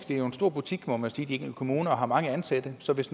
det er en stor butik må man sige og de enkelte kommuner har mange ansatte så hvis